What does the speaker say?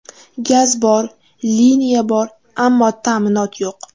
Gaz bor, liniya bor, ammo ta’minot yo‘q.